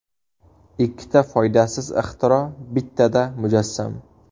Ikkita foydasiz ixtiro bittada mujassam!